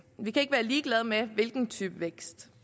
vi kan ikke være ligeglade med hvilken type vækst